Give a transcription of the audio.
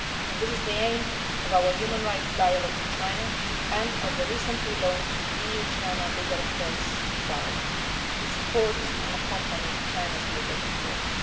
This is the aim of our human rights dialogue with China and of the recently launched EU China Legal Affairs dialogue, to support and accompany China's legal reforms.